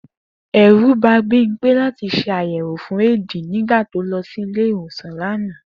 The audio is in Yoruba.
È̩rù ba Bímpé láti s̩e àyè̩ẁò fún éèdì nĩgbà tó lo̩ sí ilé ìwòsàn lánàá